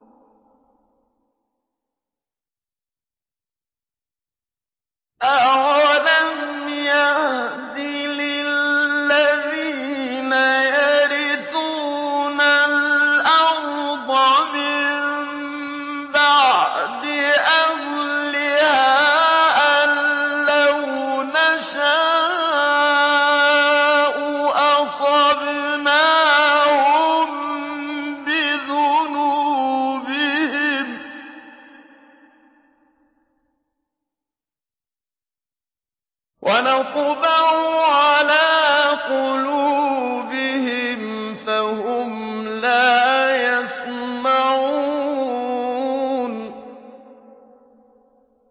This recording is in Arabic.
أَوَلَمْ يَهْدِ لِلَّذِينَ يَرِثُونَ الْأَرْضَ مِن بَعْدِ أَهْلِهَا أَن لَّوْ نَشَاءُ أَصَبْنَاهُم بِذُنُوبِهِمْ ۚ وَنَطْبَعُ عَلَىٰ قُلُوبِهِمْ فَهُمْ لَا يَسْمَعُونَ